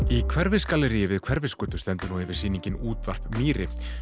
í Hverfisgalleríi við Hverfisgötu stendur yfir sýningin útvarp mýri